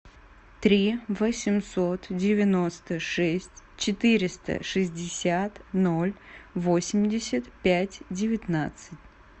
три восемьсот девяносто шесть четыреста шестьдесят ноль восемьдесят пять девятнадцать